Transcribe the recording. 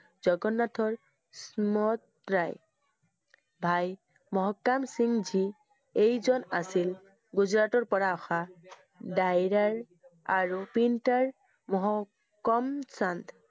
জগন্নাথৰ মত প্ৰায়। ভাই মহকাম সিংহ জী এইজন আছিল গুজৰাটৰ পৰা অহা আৰু painter মহ~কম চন্দ